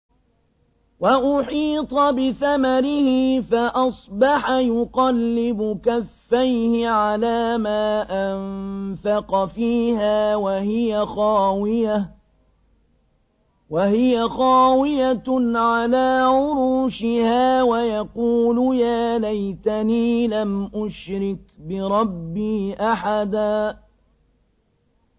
وَأُحِيطَ بِثَمَرِهِ فَأَصْبَحَ يُقَلِّبُ كَفَّيْهِ عَلَىٰ مَا أَنفَقَ فِيهَا وَهِيَ خَاوِيَةٌ عَلَىٰ عُرُوشِهَا وَيَقُولُ يَا لَيْتَنِي لَمْ أُشْرِكْ بِرَبِّي أَحَدًا